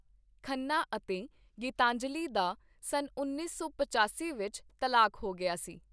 ਖੰਨਾ ਅਤੇ ਗੀਤਾਂਜਲੀ ਦਾ ਸੰਨ ਉੱਨੀ ਸੌ ਪਚਾਸੀ ਵਿੱਚ ਤਲਾਕ ਹੋ ਗਿਆ ਸੀ।